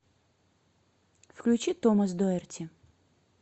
включи томас доэрти